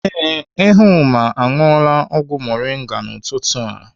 Ee, Ehumma aṅụọla ọgwụ moringa n'ụtụtụ a.